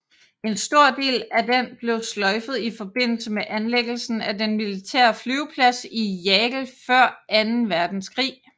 En stor del af den blev sløjfet i forbindelse med anlæggelsen af den militære flyveplads i Jagel før Anden Verdenskrig